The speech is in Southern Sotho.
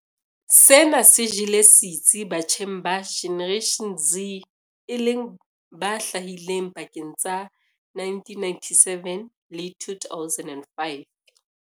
Sena se jele setsi batjheng ba Generation Z e leng ba hlahileng pakeng tsa 1997 le 2005.